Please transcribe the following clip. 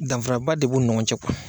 Danfara ba de b'u ni ɲɔgɔn cɛ kuwa.